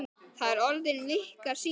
Það er orðin vika síðan.